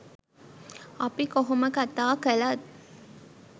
අපි කොහොම කතා කළත්